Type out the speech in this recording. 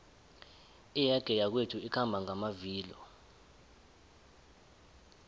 iyege yakwethu ikhamba ngamavilo